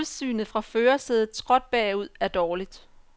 Udsynet fra førersædet skråt bagud er dårligt.